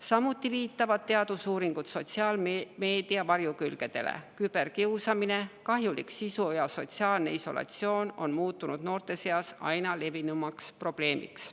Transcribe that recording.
Samuti viitavad teadusuuringud sotsiaalmeedia varjukülgedele: küberkiusamine, kahjuliku sisu ja sotsiaalne isolatsioon on muutunud noorte seas aina levinumaks probleemiks.